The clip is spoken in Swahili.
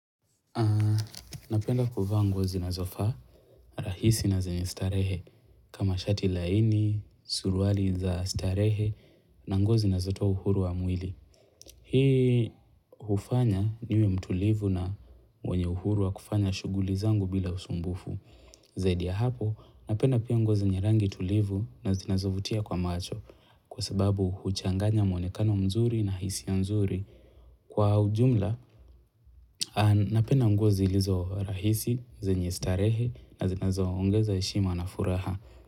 Napenda kuvaa nguo zinazofaa, rahisi na zenye starehe. Kama shati laini, suruali za starehe na nguo zinazotoa uhuru wa mwili. Hii hufanya niwe mtulivu na mwenye uhuru wa kufanya shughuli zangu bila usumbufu. Zaidi ya hapo, napenda pia nguo zenye rangi tulivu na zinazovutia kwa macho kwa sababu huchanganya mwonekano mzuri na hisia nzuri. Kwa ujumla, napenda nguo zilizo rahisi, zenye starehe na zinazoongeza heshima na furaha.